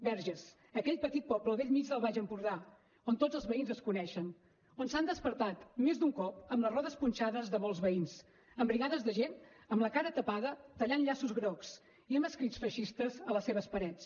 verges aquell petit poble al bell mig del baix empordà on tots els veïns es coneixen on s’han despertat més d’un cop amb les rodes punxades molts veïns amb brigades de gent amb la cara tapada tallant llaços grocs i amb escrits feixistes a les seves parets